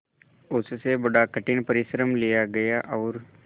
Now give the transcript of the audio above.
उससे बड़ा कठिन परिश्रम लिया गया और